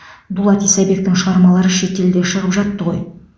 дулат исабектің шығармалары шетелде шығып жатты ғой